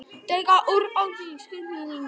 Dregur úr öryggi sjúklinga